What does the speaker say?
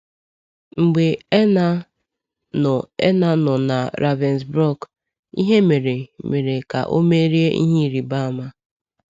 Mgbe Erna nọ Erna nọ na Ravensbrück, ihe mere mere ka o merie ihe ịrịba ama.